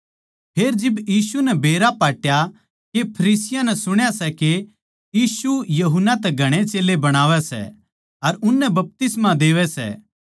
फेर जिब यीशु नै बेरा पाट्या के फरीसियाँ नै सुण्या सै के यीशु यूहन्ना तै घणे चेल्लें बणावै सै अर उननै बपतिस्मा देवै सै